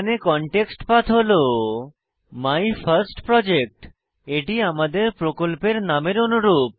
context path হল my first project এটি আমাদের প্রকল্পের নামের অনুরূপ